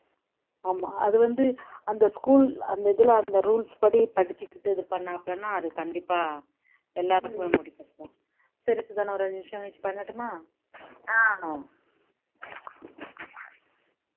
ஆமா அது வந்து அந்த school அந்த இதுல அந்த rules படி படிச்சிக்கிட்டு இது பண்ணாப்புலன்னா அது கண்டிப்பா எல்லாருக்குமே முடியும் தான் சரி சுதா நான் ஒரு அஞ்சு நிமிஷம் கழிச்சி பண்ணட்டும்மா ஆஹ்